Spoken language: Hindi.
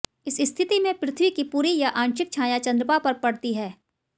इस स्थिति में पृथ्वी की पूरी या आंशिक छाया चंद्रमा पर पड़ती है